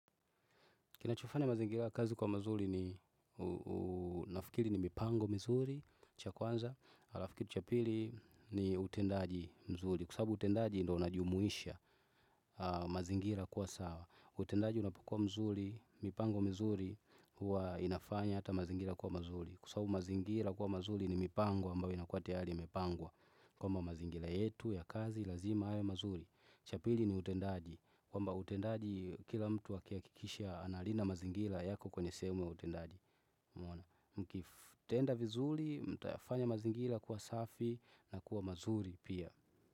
Kinachofanya mazingira ya kazi kuwa mazuri ninafikiri ni mipango mizuri, cha kwanza, halafu kitu cha pili ni utendaji mzuri. Kwa sababu utendaji ndio unajumuisha mazingira kuwa sawa. Utendaji unapokuwa mzuri, mipango mizuri, huwa inafanya hata mazingira kuwa mazuri. Kwa sababu mazingira kuwa mazuri ni mipango ambayo inakuwa tayariimepangwa. Kwamba mazingira yetu ya kazi lazima yawe mazuri. Cha pili ni utendaji, kwamba utendaji kila mtu akihakikisha analinda mazingira yako kwenye sehemu ya utendaji. Mkitenda vizuri, mtayafanya mazingira kuwa safi na kuwa mazuri pia.